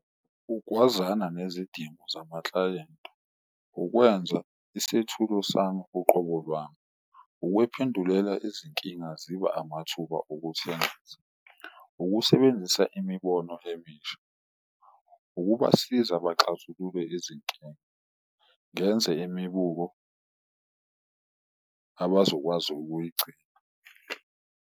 Ugwazana nezidingo zamaklayenti, ukwenza isethulo sami uqobo lwami, ukuyiphendulela izinkinga zibe amathuba emisha, ukusebenzisa imibono emisha. Ukubasiza baxazulule izinkinga ngenze imibuko abazokwazi ukuyigcina.